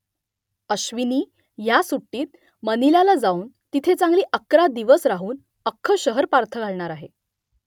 अश्विनी ह्या सुट्टीत मनिलाला जाऊन तिथे चांगली अकरा दिवस राहून अख्खं शहर पालथं घालणार आहे